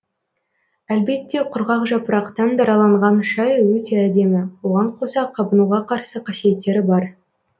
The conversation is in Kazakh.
әлбетте құрғақ жапырақтан дараланған шай өте әдемі оған қоса қабынуға қарсы қасиеттері бар